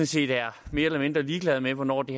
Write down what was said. set er mere eller mindre ligeglad med hvornår det